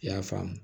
I y'a faamu